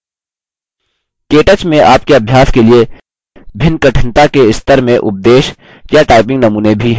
केटच में आपके अभ्यास के लिए भिन्न कठिनता के स्तर में उपदेश या typing नमूने भी हैं